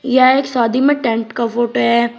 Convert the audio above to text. यह एक शादी में टेंट का फोटो है।